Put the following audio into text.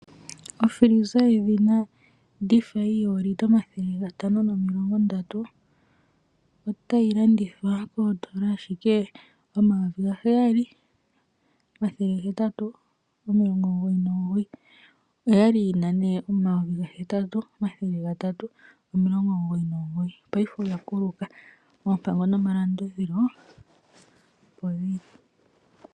Ofiliza yedhina Defy yoolitela 530 otayi landithwa kooN$ 7 899. Oya li yi na N$ 8 399. Paife ondando oya kuluka. Oompango nomalandulathano opo dhi li.